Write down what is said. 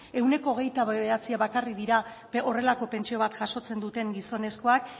ehuneko hogeita bederatzia bakarrik dira horrelako pentsio bat jasotzen duten gizonezkoak